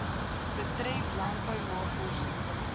betref landbou navorsing